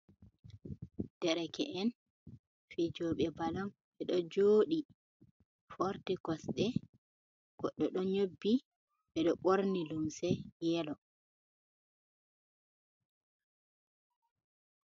Dereke'en fijoɓe balon ɓeɗo joɗi forti kosɗe goɗɗo ɗo nyobbi ɓeɗo ɓorni lumse yelo.